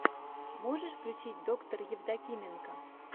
можешь включить доктор евдокименко